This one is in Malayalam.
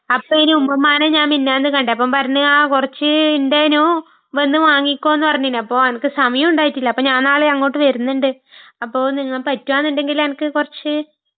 അപ്പൊയ്ന് ഉമ്മൂമ്മാനെ ഞാൻ മിനഞ്ഞാന്ന് കണ്ടു, അപ്പൊ പറഞ്ഞ്...ആ..കുറച്ച് ഉണ്ടായ്നു, വന്ന് വാങ്ങിക്കോ നു പറഞ്ഞിന്.അപ്പൊ അനക്ക് സമയമുണ്ടായിട്ട്ല്ല.അപ്പൊ ഞാൻ നാളെ അങ്ങോട്ട് വരുന്നുണ്ട്.. അപ്പൊ നിങ്ങക്ക് പറ്റുവാനുണ്ടെങ്കില് എനക്ക് കുറച്ച്....